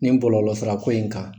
Nin kɔlɔlɔ sira ko in kan.